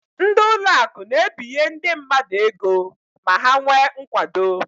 Ndị ụlọakụ na-ebinye ndị mmadụ ego ma ha nwee nkwado.